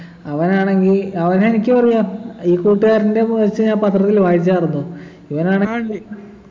അവനാണെങ്കി അവനെ എനിക്കു അറിയാം ഈ കൂട്ടുകാരൻ്റെ news ഞാൻ പത്രത്തിൽ വായിച്ചാരുന്നു ഇവനാണ്